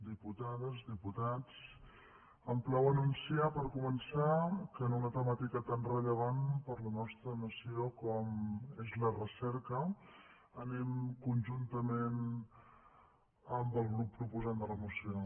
diputades diputats em plau anunciar per començar que en una temàtica tan rellevant per a la nostra nació com és la recerca anem conjuntament amb el grup proposant de la moció